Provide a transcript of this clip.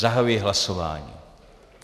Zahajuji hlasování.